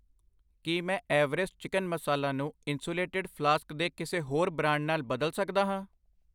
ਕੀ ਮੈਂ Everest chicken masala ਨੂੰ insulated flask ਦੇ ਕਿਸੇ ਹੋਰ ਬ੍ਰਾਂਡ ਨਾਲ ਬਦਲ ਸਕਦਾ ਹਾਂ?